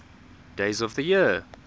days of the year